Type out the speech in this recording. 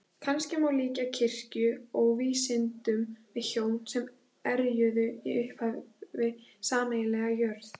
Kannski má líkja kirkju og vísindum við hjón sem erjuðu í upphafi sameiginlega jörð.